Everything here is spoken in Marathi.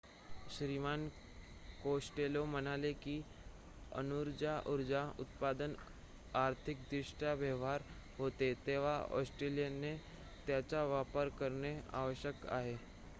श्रीमान कोस्टेलो म्हणाले की अणुऊर्जा उत्पादन आर्थिकदृष्ट्या व्यवहार्य होते तेव्हा ऑस्ट्रेलियाने त्याचा वापर करणे आवश्यक आहे